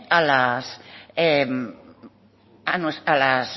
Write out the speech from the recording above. a las